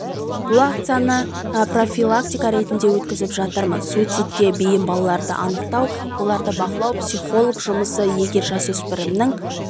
бұл акцияны прафилактика ретінде өткізіп жатырмыз суицидке биім балаларды анықтау оларды бақылау психолог жұмысы егер жасөспірімнің